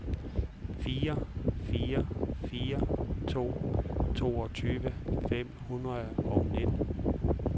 fire fire fire to toogtyve fem hundrede og nitten